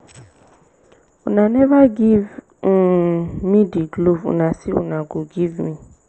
una never give um me the glove una say una go give me